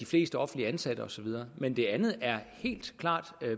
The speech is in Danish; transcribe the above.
flest offentligt ansatte og så videre men det andet er helt klart